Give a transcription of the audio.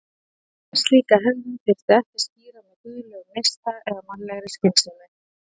En slíka hegðun þyrfti ekki að skýra með guðlegum neista eða mannlegri skynsemi.